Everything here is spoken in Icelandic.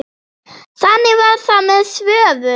Þannig var það með Svövu.